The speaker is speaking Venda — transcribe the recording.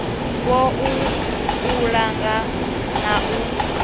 wua u langa na u